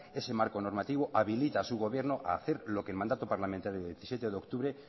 ese marco normativo habilita a su gobierno a hacer lo que el mandato parlamentario del diecisiete de octubre